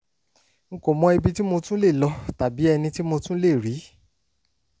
n n kò mọ ibi tí mo tún lè lọ tàbí ẹni tí mo tún lè rí